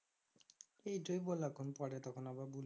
এই বল এখন পরে তখন আবার বল